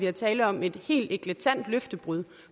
er tale om et helt eklatant løftebrud